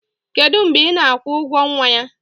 kedu mgbe ị na-akwụ ụgwọ nwa ya?